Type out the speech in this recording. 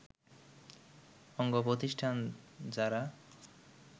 অঙ্গপ্রতিষ্ঠান জারা